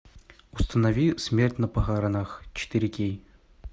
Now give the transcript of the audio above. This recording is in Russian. установи смерть на похоронах четыре кей